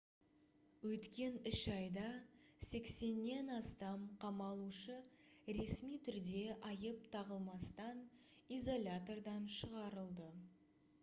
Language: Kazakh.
өткен 3 айда 80-нен астам қамалушы ресми түрде айып тағылмастан изолятордан шығарылды